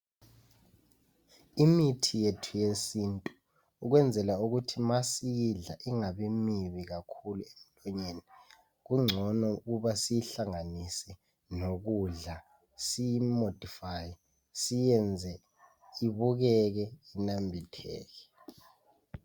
Imithi yethu yesintu ukwenzela ukuthi ma siyidla ingabi mibi kakhulu emlonyeni kungcono ukuba siyihlanganise lokudla siyimodifaye siyenze ibukeke inambitheke.